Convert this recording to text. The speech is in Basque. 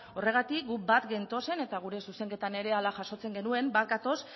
horregatik guk bat gentozen eta gure zuzenketan ere horrela jasotzen genuen bat gatoz